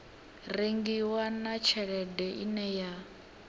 rengiwa na tshelede ine ya